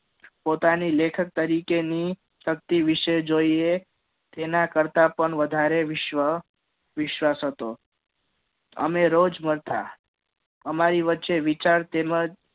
પોતાની લેખક તરીકેની શક્તિ વિશે પણ જોઈએ તેના કરતા પણ વધારે વિશ્વ વિશ્વાસ હતો અમે રોજ મળતા અમારી વચ્ચે વિચાર તેમજ